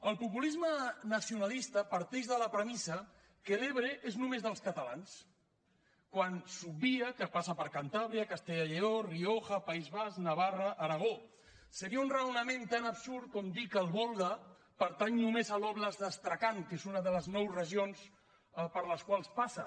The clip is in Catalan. el populisme nacionalista parteix de la premissa que l’ebre és només dels catalans quan s’obvia que passa per cantàbria castella i lleó la rioja país basc navarra aragó seria un raonament tant absurd com dir que el volga pertany només a l’d’astrakhan que és una de les nou regions per les quals passa